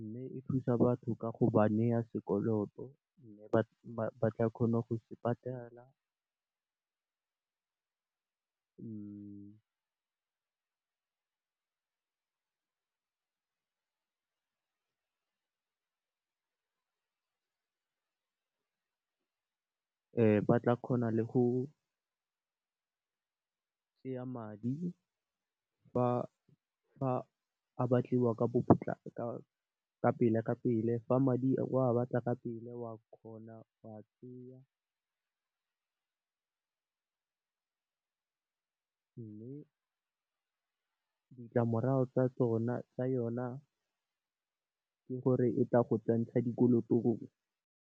Mme, e thusa batho ka go ba naya sekoloto mme ba tla kgona go se patela ba tla kgona le go kry-a madi fa a batliwa kapele, fa madi o wa batla kapele wa kgona go wa tseya . Mme, ditlamorago tsa yona ke gore e tla go tshentsha dikolotong.